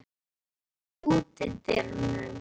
Káinn, læstu útidyrunum.